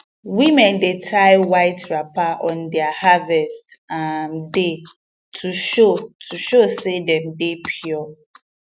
women dey tie white wrapper on their harvest um day to show to show say dem dey pure